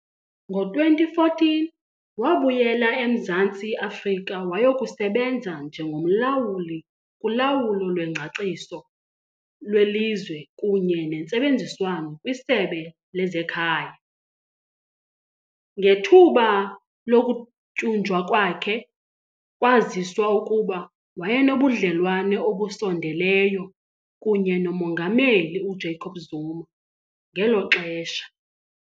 Ngo-2014 wabuyela eMzantsi Afrika wayokusebenza njengomlawuli kulawulo lwengcaciso lwelizwe kunye nentsebenziswano kwiSebe lezeKhaya. Ngethuba lokutyunjwa kwakhe kwaziswa ukuba wayenobudlelwane obusondeleyo kunye noMongameli uJacob Zuma ngelo xesha.